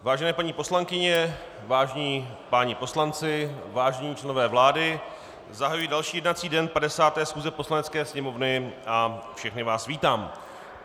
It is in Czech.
Vážené paní poslankyně, vážení páni poslanci, vážení členové vlády, zahajuji další jednací den 50. schůze Poslanecké sněmovny a všechny vás vítám.